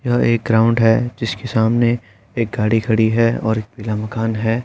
यह एक ग्राउन्ड है जिसके सामने एक गाड़ी खड़ी है और एक पीला मकान है।